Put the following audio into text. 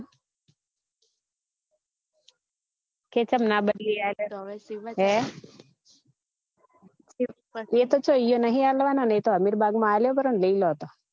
કે ચમ ના બદલી હ એ તો ચો ત્યો નહિ અલવા ને અ તો અમીર બાગ માં આલ્યો પરો ને લીલો તો